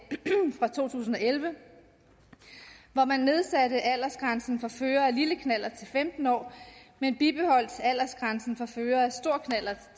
fra to tusind og elleve hvor man nedsatte aldersgrænsen for førere af en lille knallert til femten år men bibeholdt aldersgrænsen for førere af stor knallert